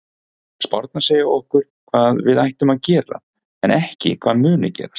Spárnar segja okkur hvað við ættum að gera en ekki hvað muni gerast.